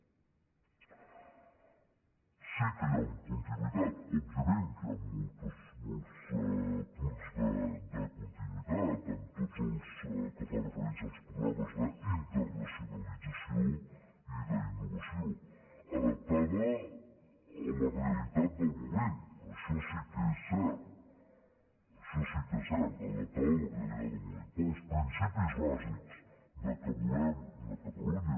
sí que hi ha una continuïtat òbviament que hi han molts punts de continuïtat en tot el que fa referència als programes d’internacionalització i d’innovació adapta·da a la realitat del moment això sí que és cert adaptada a la realitat del moment però els principis bàsics que volem una catalunya